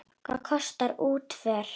Hvað kostar útför?